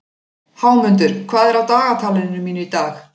Hámundur, hvað er á dagatalinu mínu í dag?